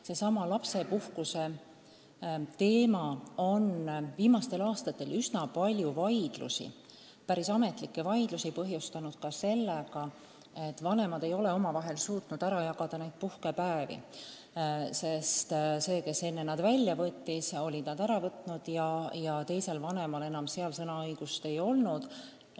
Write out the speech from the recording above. Seesama lapsepuhkuse teema on viimastel aastatel üsna palju vaidlusi, ka päris ametlikke vaidlusi põhjustanud sellegagi, et vanemad ei ole omavahel suutnud neid puhkepäevi ära jagada ja see, kes need enne välja võttis, on need välja võtnud nii, et teisel vanemal sõnaõigust pole olnud.